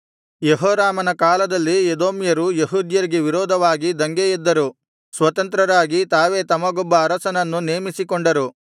ಯೆಹೋರಾಮನ ಕಾಲದಲ್ಲಿ ಎದೋಮ್ಯರು ಯೆಹೂದ್ಯರಿಗೆ ವಿರೋಧವಾಗಿ ದಂಗೆಯೆದ್ದರು ಸ್ವತಂತ್ರರಾಗಿ ತಾವೇ ತಮಗೊಬ್ಬ ಅರಸನನ್ನು ನೇಮಿಸಿಕೊಂಡರು